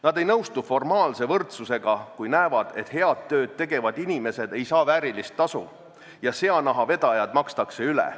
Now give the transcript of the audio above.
Nad ei nõustu formaalse võrdsusega, kui näevad, et head tööd tegevad inimesed ei saa väärilist tasu ja seanahavedajad makstakse üle.